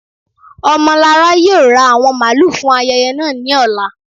Omolára yóò rá awọn mààlù fún ayẹyẹ naa ni ọ̀là.